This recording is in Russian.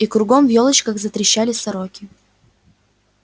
и кругом в ёлочках затрещали сороки